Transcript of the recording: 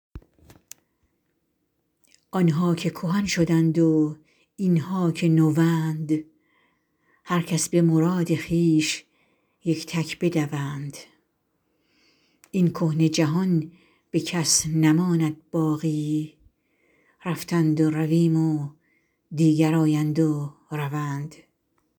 آن ها که کهن شدند و این ها که نوند هر کس به مراد خویش یک تک بدوند این کهنه جهان به کس نماند باقی رفتند و رویم و دیگر آیند و روند